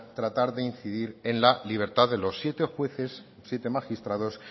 tratar de incidir en la libertad de los siete jueces siete magistrados